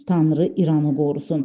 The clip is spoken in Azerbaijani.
Tanrı İranı qorusun.